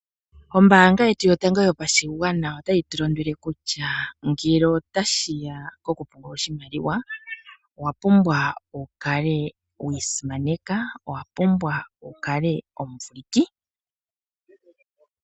Ombaanga yetu yotango yopashigwana otayi tu londodha ngele otashi ya kokupungula oshimaliwa. Owa pumbwa wu kale wi isimaneka nowa pumbwa wu kale omuvuliki.